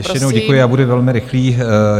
Ještě jednou děkuji a budu velmi rychlý.